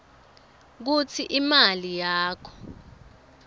kutsi imali yakho